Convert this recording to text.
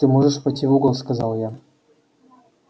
ты можешь пойти в угол сказал я